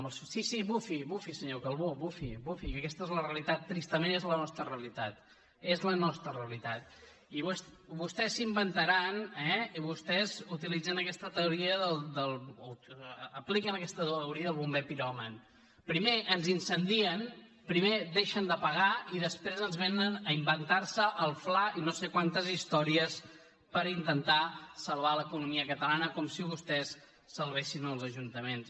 sí sí bufi senyor calbó bufi que aquesta és la realitat tristament és la nostra realitat és la nostra realitat i vostès s’inventaran eh i vostès utilitzen aquesta teoria apliquen aquesta teoria del bomber piròman primer ens incendien primer deixen de pagar i després vénen a inventarse el fla i no sé quantes històries per intentar salvar l’economia catalana com si vostès salvessin els ajuntaments